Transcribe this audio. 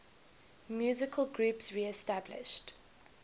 musical groups reestablished